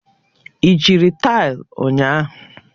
Ị jiri taịlị ụnyahụ?